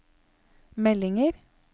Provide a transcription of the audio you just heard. meldinger